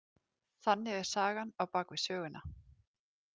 Þannig er sagan á bak við söguna.